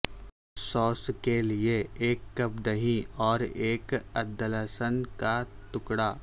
sauce کےلیے ایک cup دہی اور ایک عددلہسن کا ٹکڑا